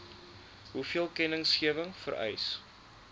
hoeveel kennisgewing vereis